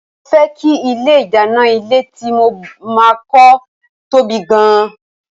Mo fẹ́ kí ilé ìdáná ilé tí mo máa kọ́ ó tóbi gan-an